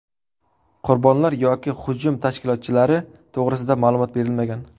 Qurbonlar yoki hujum tashkilotchilari to‘g‘risida ma’lumot berilmagan.